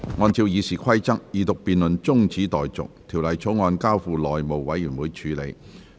按照《議事規則》，二讀辯論中止待續，《條例草案》交付內務委員會處理。